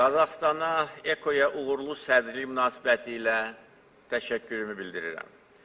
Qazaxıstana EKO-ya uğurlu sədrliyi münasibətilə təşəkkürümü bildirirəm.